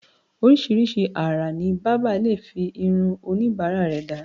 oríṣiríṣi àrà ni bábà lè fi irun oníbàárà rẹ̀ dá